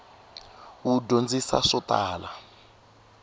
wu dyondzisa swo tala